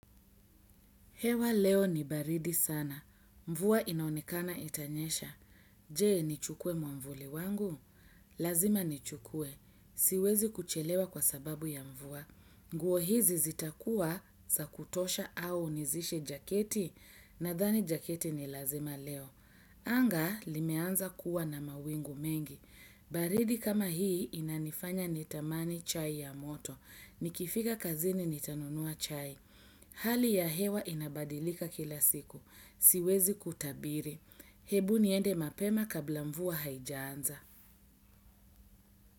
Hewa leo ni baridi sana. Mvua inaonekana itanyesha. Je, nichukue mwavuli wangu? Lazima ni chukwe. Siwezi kuchelewa kwa sababu ya mvua. Nguo hizi zitakua za kutosha au nizishe jaketi. Nadhani jaketi ni lazima leo. Anga limeanza kuwa na mawingu mengi. Baridi kama hii inanifanya nitamani chai ya moto. Nikifika kazini nitanunua chai. Hali ya hewa inabadilika kila siku. Siwezi kutabiri. Hebu niende mapema kabla mvua haijanza.